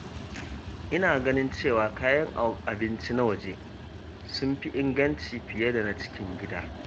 Ina ganin cewa kayan abinci na waje sun fi inganci fiye da na cikin gida.